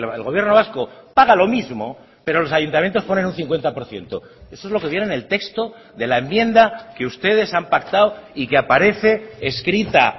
el gobierno vasco paga lo mismo pero los ayuntamientos ponen un cincuenta por ciento eso es lo que viene en el texto de la enmienda que ustedes han pactado y que aparece escrita